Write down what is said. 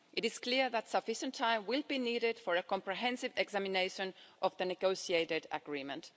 It is clear that sufficient time will be needed for a comprehensive examination of the negotiated agreement.